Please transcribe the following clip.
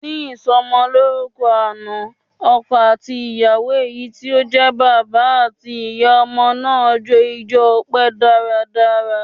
Ní ìsọmọlórúkọ àná, ọkọ àti ìyàwó èyí tí ó jẹ́ bàbá àti ìyá ọmọ náà jó ijo ọpẹ dáradára.